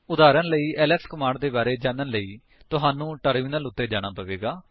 ਉਦਾਹਰਣ ਲਈ L S command ਦੇ ਬਾਰੇ ਵਿੱਚ ਜਾਣਨ ਲਈ ਤੁਹਾਨੂੰ ਟਰਮਿਨਲ ਉੱਤੇ ਜਾਣਾ ਪਵੇਗਾ